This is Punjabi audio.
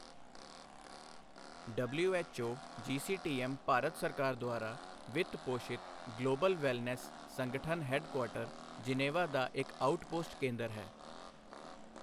ਡਬਲਿਊਐੱਚਓ ਜੀਸੀਟੀਐੱਮ ਭਾਰਤ ਸਰਕਾਰ ਦੁਆਰਾ ਵਿੱਤ ਪੋਸ਼ਿਤ ਗਲੋਬਲ ਵੈਲਨੈੱਸ ਸੰਗਠਨ ਹੈਡਕੁਆਟਰ ਜਿਨੇਵਾ ਦਾ ਇੱਕ ਆਉਟਪੋਸਟ ਕੇਂਦਰ ਹੈ।